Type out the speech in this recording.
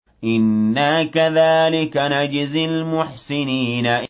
إِنَّا كَذَٰلِكَ نَجْزِي الْمُحْسِنِينَ